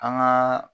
An gaa